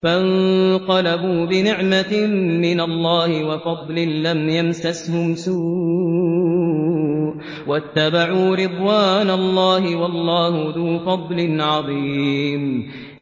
فَانقَلَبُوا بِنِعْمَةٍ مِّنَ اللَّهِ وَفَضْلٍ لَّمْ يَمْسَسْهُمْ سُوءٌ وَاتَّبَعُوا رِضْوَانَ اللَّهِ ۗ وَاللَّهُ ذُو فَضْلٍ عَظِيمٍ